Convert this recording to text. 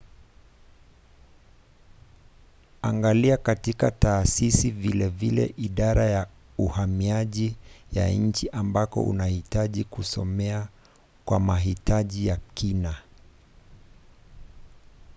angalia katika taasisi vilevile idara ya uhamiaji ya nchi ambako unahitaji kusomea kwa mahitaji ya kina